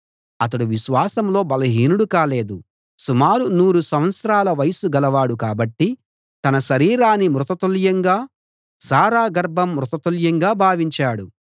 అతడు విశ్వాసంలో బలహీనుడు కాలేదు సుమారు నూరు సంవత్సరాల వయస్సు గలవాడు కాబట్టి తన శరీరాన్ని మృతతుల్యంగా శారా గర్భం మృతతుల్యంగా భావించాడు